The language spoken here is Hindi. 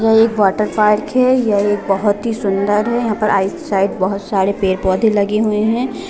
ये एक वॉटर पार्क है यह एक बहुत ही सुंदर है आउट साइड बहुत सारे पेड़-पौधे लगे हुए है।